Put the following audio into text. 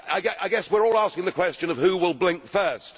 I guess we are all asking the question of who will blink first.